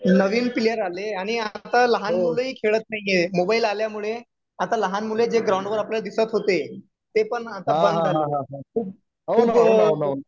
नवीन player आले आणि आता लहान मुलंही खेळत नाहीये मोबाईल आल्यामुळे आता लहान मुलंही जे ग्राउंड वर आपल्याला दिसत होते ते पण आता बंद झाले